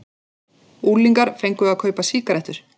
Unglingar fengu að kaupa sígarettur